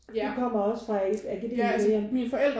Du kommer også fra et akademikerhjem?